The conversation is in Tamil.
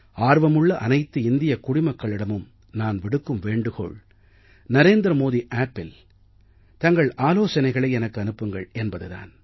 ஆர்வமுள்ள அனைத்து இந்தியக் குடிமக்களிடமும் நான் விடுக்கும் வேண்டுகோள் narendramodiappஇல் தங்கள் ஆலோசனைகளை எனக்கு அனுப்புங்கள் என்பதுதான்